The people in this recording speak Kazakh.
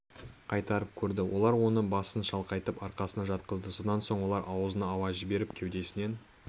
қайтарып көрді олар оны басын шалқайтып арқасынан жатқызды содан соң олар аузынан ауа жіберіп кеудесінен